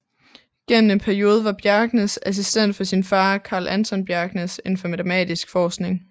Gennem en periode var Bjerknes assistent for sin far Carl Anton Bjerknes inden for matematisk forskning